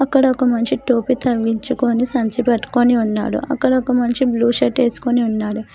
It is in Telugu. ఇక్కడ ఒక మనిషి టోపీ తగిలించికొని సంచిపట్టుకొని ఉన్నాడు అక్కడ ఒక మనిషి బ్లూ షర్ట్ ఎసుకొని ఉన్నాడు.